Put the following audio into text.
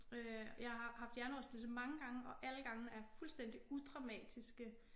Øh jeg har haft hjernerystelse mange gange og alle gangene er fuldstændig udramatiske